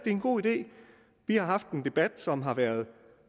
en god idé vi har haft en debat som har været